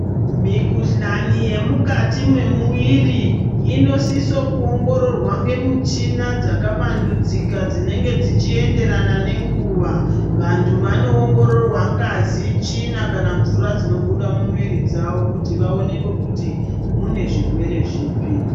Mikhuhlane yemukati memuiri inosiso ku ongororwa ngemuchina dzakavandudzika dzinenge dzichiyenderana nenguva. Vantu vano ongororwa ngazi, tsvina kana mvura dzinobuda mumuiri dzawo kuti vaonekwe kuti munezvirwere zvipi.